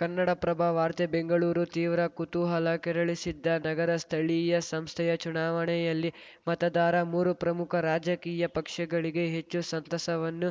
ಕನ್ನಡಪ್ರಭ ವಾರ್ತೆ ಬೆಂಗಳೂರು ತೀವ್ರ ಕುತೂಹಲ ಕೆರಳಿಸಿದ್ದ ನಗರ ಸ್ಥಳೀಯ ಸಂಸ್ಥೆಯ ಚುನಾವಣೆಯಲ್ಲಿ ಮತದಾರ ಮೂರು ಪ್ರಮುಖ ರಾಜಕೀಯ ಪಕ್ಷಗಳಿಗೆ ಹೆಚ್ಚು ಸಂತಸವನ್ನೂ